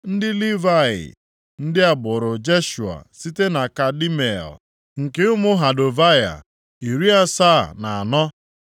Ndị Livayị: ndị agbụrụ Jeshua site na Kadmiel nke ụmụ Hodavaya, iri asaa na anọ (74).